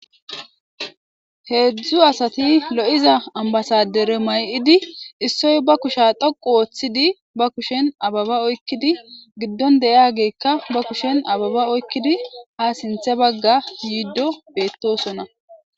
Heedzdzu asati lo'iza ambasadere may'idi issoy ba kushe dhoqu ooththidi ba kushen ababa oykkidi giddon deyageekka ba kushen ababa oykkidi ha sinthe bagga yiiddo beettosona.